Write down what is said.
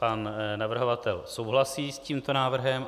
Pan navrhovatel souhlasí s tímto návrhem.